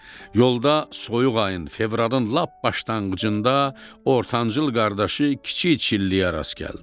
Yolda soyuq ayın fevralın lap başlanğıcında ortancıl qardaşı kiçik çilləyə rast gəldi.